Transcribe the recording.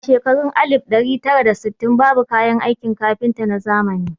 A shekarun alif ɗari tara da sittin babu kayan aikin kafinta na zamani